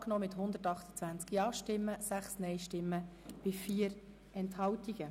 Sie haben den Verpflichtungskredit angenommen mit 128 Ja- gegen 6 Nein-Stimmen bei 4 Enthaltungen.